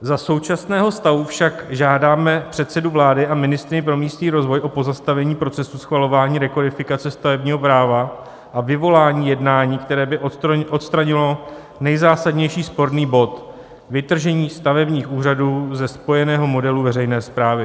Za současného stavu však žádáme předsedu vlády a ministryni pro místní rozvoj o pozastavení procesu schvalování rekodifikace stavebního práva a vyvolání jednání, které by odstranilo nejzásadnější sporný bod - vytržení stavebních úřadů ze spojeného modelu veřejné správy.